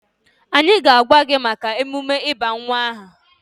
Anyị ga-agwa gị maka emume ịba nwa aha.